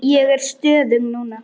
Ég er stöðug núna.